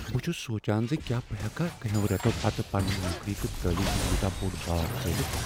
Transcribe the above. بہٕ چھس سونٛچان ز کیٛاہ بہٕ ہیکا کٮ۪نٛہو رٮ۪تو پتہٕ پننہ نوکری تہٕ تعلیم ہنٛد یوٗتاہ بوٚڑ بار ژٲلتھ۔